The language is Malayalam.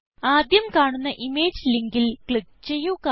ആദ്യം കാണുന്ന ഇമേജ് ലിങ്കിൽ ക്ലിക്ക് ചെയ്യുക